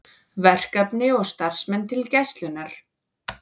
Verkefni og starfsmenn til Gæslunnar